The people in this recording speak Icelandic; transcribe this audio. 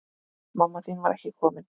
Mamma þín var ekki komin.